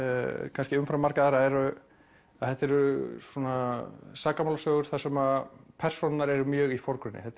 kannski umfram marga aðra er að þetta eru svona sakamálasögur þar sem persónurnar eru mjög í forgrunni þetta